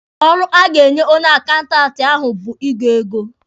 Ọrụ a ga-enye onye akaụntanti ahụ bụ ịgụ ego.